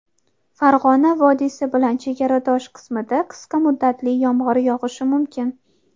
Farg‘ona vodiysi bilan chegaradosh qismida qisqa muddatli yomg‘ir yog‘ishi mumkin.